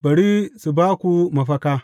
Bari su ba ku mafaka!